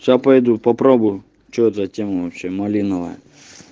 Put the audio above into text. сейчас пойду попробую что за тема вообще малиновая